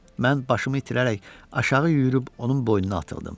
Mən başımı itirərək aşağı yüyürüb onun boynuna atıldım.